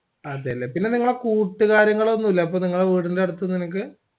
അതെല്ലേ അപ്പൊ നിങ്ങളെ കൂട്ടുകാരികളൊന്നുഇല്ലെ നിങ്ങടെ വീടിന്റെ അട്ത്ത് നിനക്ക്